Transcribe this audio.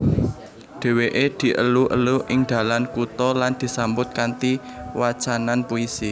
Dewèké dielu elu ing dalan kutha lan disambut kanthi wacanan puisi